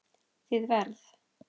Þið verð